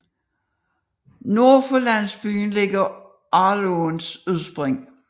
Nord for landsbyen ligger Arlåens udspring